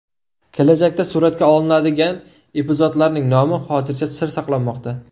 Kelajakda suratga olinadigan epizodlarning nomi hozircha sir saqlanmoqda.